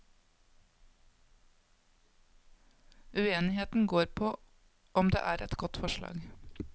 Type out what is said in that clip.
Uenigheten går på om det er godt forslag.